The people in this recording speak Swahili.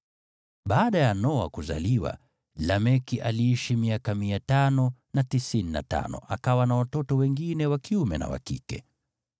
Baada ya Noa kuzaliwa, Lameki aliishi miaka 595, akawa na watoto wengine wa kiume na wa kike.